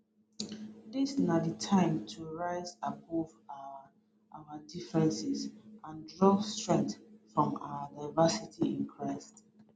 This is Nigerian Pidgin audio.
dis na di time to rise above our our differences and draw strength from our diversity in christ